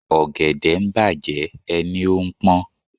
Ọ̀gẹ̀dẹ̀ ń bàjẹ́ ẹ ní ó ń pón.